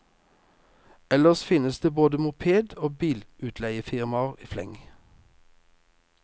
Ellers finnes det både moped og bilutleiefirmaer i fleng.